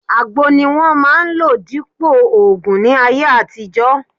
Àgbo ni wọ́n máà ń lò dípòo ògùn ní ayé àtijọ́